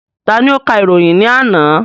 Ta ni ó ka ìròyìn ní àná?